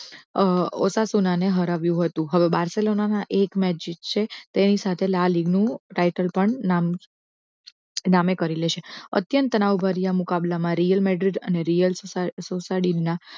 ઓસાસુનાને હરાવ્યું હતું હવે બારસેલોના એક મેચ જીતશે તેની સાથે લાલ ઈનું title પણ નામે કરી લેશે અત્યંત તનાવ ભર્યા મુકાબલા માં real madrid અને રીયલ સોસાડીના